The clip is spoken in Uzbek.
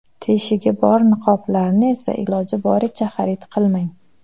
Teshigi bor niqoblarni esa iloji boricha xarid qilmang.